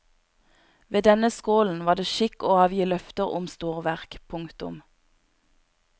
Ved denne skålen var det skikk å avgi løfter om storverk. punktum